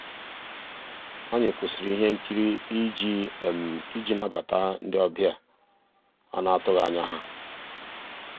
ànyị́ kwụ́sị́rí íhé nkírí ìjì ìjì nabàtà ndị́ ọ̀bịá á ná-àtụ́ghị́ ànyá yá.